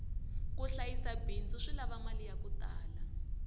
ku hlayisa bindzu swi lava mali yaku tala